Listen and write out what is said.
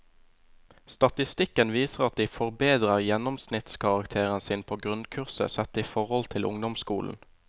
Statistikken viser at de forbedrer gjennomsnittskarakteren sin på grunnkurset sett i forhold til ungdomsskolen.